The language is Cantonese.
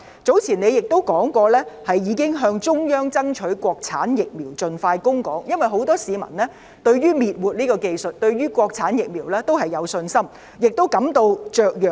早前她亦表示，已經向中央爭取國產疫苗盡快供港，因為很多市民對於滅活技術及國產疫苗均有信心，也感到雀躍。